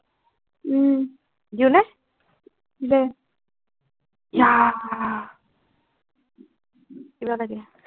উম